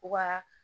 U ka